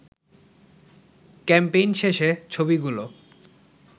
campaign শেষে ছবিগুলো